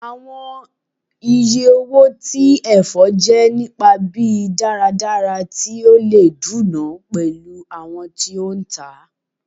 Awọn iye owo ti ẹfọ jẹ nipa bi daradara ti o le duna pẹlu awọn ti o ntaa